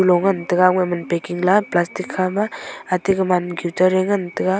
taiga aman packing la plastic hama ate gaman ma guitar ngan taiga.